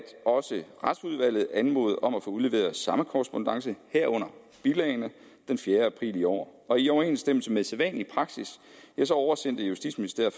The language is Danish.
også retsudvalget anmodede om at få udleveret samme korrespondance herunder bilagene den fjerde april i år og i overensstemmelse med sædvanlig praksis oversendte justitsministeriet